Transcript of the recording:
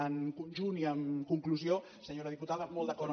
en conjunt i en conclusió senyora diputada molt d’acord